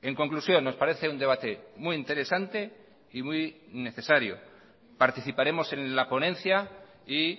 en conclusión nos parece un debate muy interesante y muy necesario participaremos en la ponencia y